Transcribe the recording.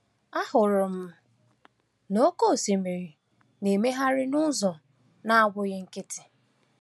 “Ahụrụ m na oke osimiri na-emegharị n’ụzọ na-abụghị nkịtị.